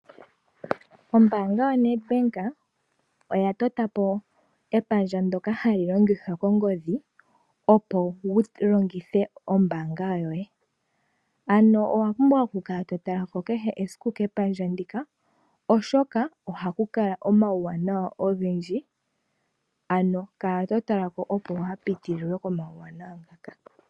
Ombaanga yoNedBank oya tota po epandja ndyoka hali longithwa kongodhi opo wu longithe ombaanga yoye. Ano owa pumbwa okukala to tala ko kehe esiku kepandja ndika oshoka ohaku kala omauwanawa ogendji. Ano kala to tala ko opo kuupitililwe po komauwanawa ngaka.